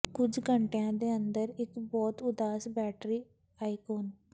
ਕੁਝ ਘੰਟਿਆਂ ਦੇ ਅੰਦਰ ਇੱਕ ਬਹੁਤ ਉਦਾਸ ਬੈਟਰੀ ਆਈਕੋਨ